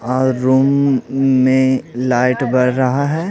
और रूम में लाइट भर रहा है।